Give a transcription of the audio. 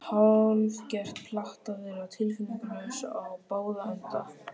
Hálfgert plat að vera tilfinningalaus í báða enda.